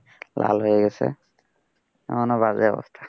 লাল হয়ে গেছে এমনও বাজে অবস্থা,